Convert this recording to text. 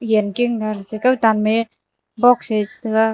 yanken gar tar kawtanme box se chetaga.